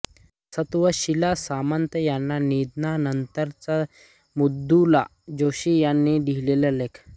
सत्त्वशीला सामंत यांच्या निधनानंतरचा मृदुला जोशी यांनी लिहिलेला लेख